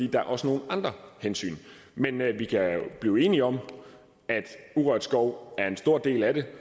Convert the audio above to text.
der er også nogle andre hensyn men vi kan blive enige om at urørt skov er en stor del af det